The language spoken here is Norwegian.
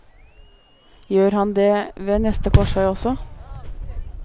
Gjør han det ved neste korsvei også?